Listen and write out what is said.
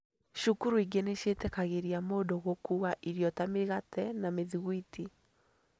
Cukuru ingĩ nĩciĩtĩkagĩria mũndũ gũkuua irio ta mĩgate na mĩthiguiti